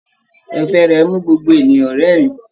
Ẹ̀fẹ̀ rẹ mú gbogbo ènìyàn rẹ́rìn.